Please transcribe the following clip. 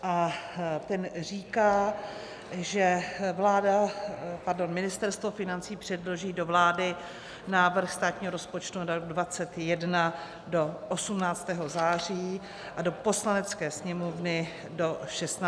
A ten říká, že Ministerstvo financí předloží do vlády návrh státního rozpočtu na rok 2021 do 18. září a do Poslanecké sněmovny do 16. října.